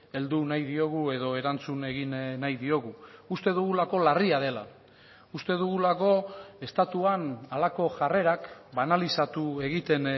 heldu nahi diogu edo erantzun egin nahi diogu uste dugulako larria dela uste dugulako estatuan halako jarrerak banalizatu egiten